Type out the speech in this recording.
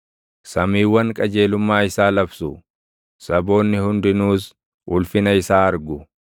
Samiiwwan qajeelummaa isaa labsu; saboonni hundinuus ulfina isaa argu.